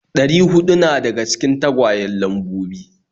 Ɗari huɗu na daga cikin tagwayen Lambobi.